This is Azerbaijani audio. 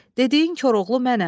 Dediyin Koroğlu mənəm.